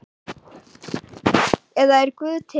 eða Er Guð til?